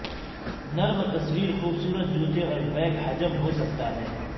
نرم تصویر خوبصورت جوتے اور بیگ حجم ہو سکتا ہے